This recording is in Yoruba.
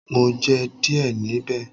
Mo jẹ díẹ̀ níbẹ̀.